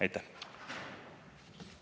Aitäh!